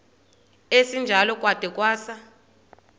esinjalo kwada kwasa